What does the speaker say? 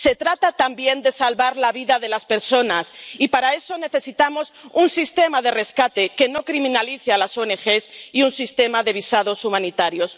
Se trata también de salvar la vida de las personas y, para eso, necesitamos un sistema de rescate que no criminalice a las ONG y un sistema de visados humanitarios.